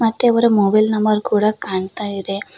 ಮತ್ತೆ ಅವರ mobile number ಕೂಡ ಕಾಣ್ತಾ ಇದೆ.